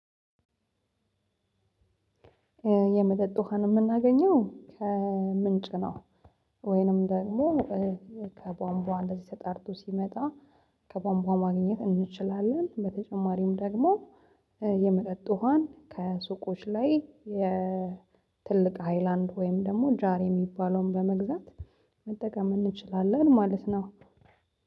የመጠጥ ውሃን የምናገኘው ከምንጭ ነው። ወይንም ደግሞ ከቧንቧ እንደዚህ ተጣርቶ ሲመጣ ከቧንቧ ማግኘት እንችላለን። በተጨማሪም ደግሞ የመጠጥ ውሃን ከሱቆች ላይ የትልቅ ሃይላንድ ወይም ደግሞ ጃር የሚባለውን በመግዛት መጠቀም እንችላለን ማለት ነው።